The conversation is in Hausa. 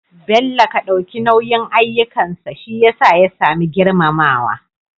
bello Ka dauki nauyin ayyukansa shiyasa ya samu girmamawa